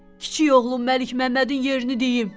Kiçik oğlum Məlikməmmədin yerini deyim.